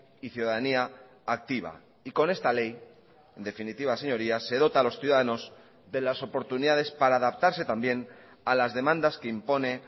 y ciudadanía activa y con esta ley en definitiva señorías se dota a los ciudadanos de las oportunidades para adaptarse también a las demandas que impone